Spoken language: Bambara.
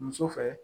Muso fɛ